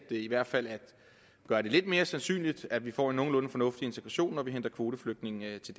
i hvert fald at gøre det lidt mere sandsynligt at vi får en nogenlunde integration når vi henter korteflygtninge til